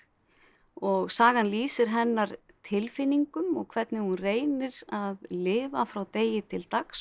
og sagan lýsir hennar tilfinningum og hvernig hún reynir að lifa frá degi til dags og